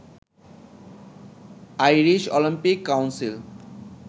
Irish Olympic council